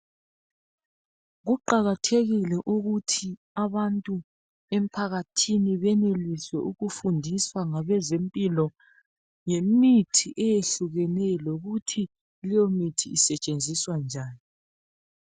Kuqakathekile ukuthi abantu emphakathini benelise ukufundiswa ngabezempilo. Ngemithi eyehlukeneyo lokhuthi leyo mithi isetshenziswa njani.